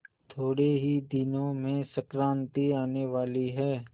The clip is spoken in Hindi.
थोड़े ही दिनों में संक्रांति आने वाली है